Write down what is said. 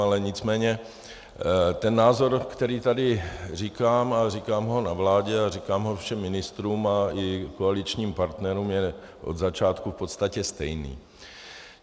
Ale nicméně ten názor, který tady říkám, a říkám ho na vládě a říkám ho všem ministrům a i koaličním partnerům, je od začátku v podstatě stejný.